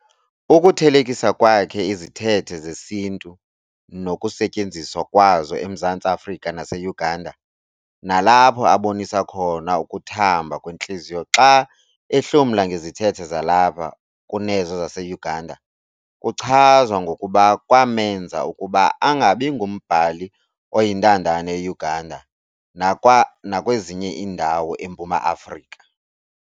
Ukuthelekisa kwakhe izithethe zesiNtu nokusetyenziswa kwazo eMzantsi Afrika naseUganda, nalapho abonisa khona ukuthamba kwentliziyo xa ehlomla ngezithethe zalapha kunezo zaseUganda, kuchazwa ngokuba kwamenza ukuba angabingumbhali oyintandane eUganda nakwezinye iindawo eMpuma Afrika.